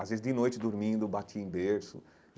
Às vezes, de noite, dormindo, eu bati em berço.